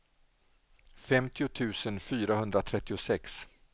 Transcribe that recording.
femtio tusen fyrahundratrettiosex